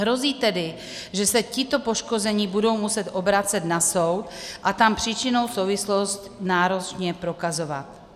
Hrozí tedy, že se tito poškození budou muset obracet na soud a tam příčinnou souvislost náročně prokazovat.